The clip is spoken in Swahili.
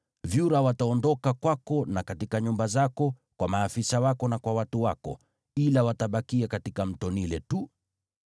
Vyura wataondoka kwako na katika nyumba zako, kwa maafisa wako na kwa watu wako, ila watabakia katika Mto Naili tu.”